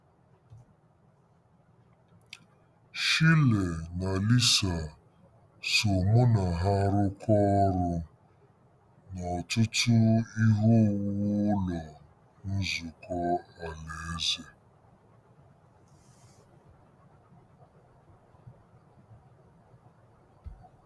Shirley na Lisa so mụ na ha rụkọọ ọrụ n'ọtụtụ ihe owuwu Ụlọ Nzukọ Alaeze.